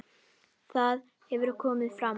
Það hefur komið fram.